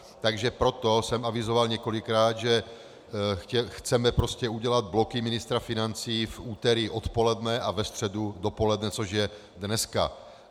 Takže proto jsem avizoval několikrát, že chceme prostě udělat bloky ministra financí v úterý odpoledne a ve středu dopoledne, což je dneska.